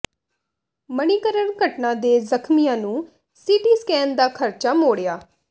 ਮਣੀਕਰਨ ਘਟਨਾ ਦੇ ਜ਼ਖ਼ਮੀਆਂ ਨੂੰ ਸੀ ਟੀ ਸਕੈਨ ਦਾ ਖ਼ਰਚਾ ਮੋਡ਼ਿਆ